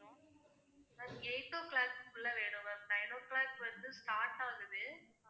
ma'am eight o'clock க்குள்ள வேணும் ma'am nine o'clock வந்து start ஆகுது